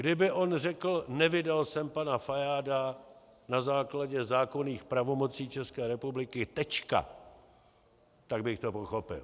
Kdyby on řekl: Nevydal jsem pana Fajáda na základě zákonných pravomocí České republiky, tečka - tak bych to pochopil.